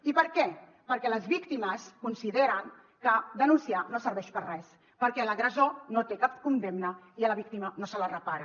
i per què perquè les víctimes consideren que denunciar no serveix per a res perquè l’agressor no té cap condemna i a la víctima no se la repara